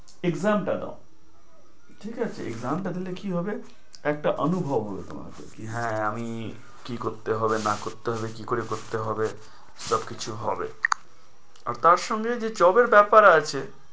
Exam টা দাও। ঠিক আছে? Exam টা দিলে কি হবে, একটা অনুভব হবে তোমার কি হ্যাঁ আমি করতে হবে না করতে হবে, কি করে করতে হবে সবকিছু হবে। আর তার সঙ্গে যে job এর ব্যাপার আছে